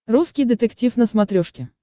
русский детектив на смотрешке